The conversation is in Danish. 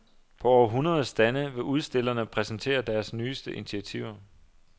På over hundrede stande vil udstillerne præsentere deres nyeste initiativer.